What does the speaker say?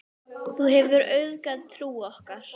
Þú hefur auðgað trú okkar.